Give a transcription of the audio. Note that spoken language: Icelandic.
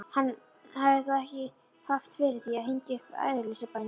Hann hafði þó haft fyrir því að hengja upp æðruleysisbænina.